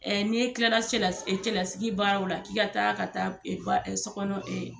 n'i e kilala cɛla cɛlasigi baaraw la, k'i ka taa ka taa baa so kɔnɔ